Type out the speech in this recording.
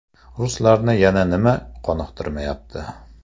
Ruslarni yana nima qoniqtirmayapti?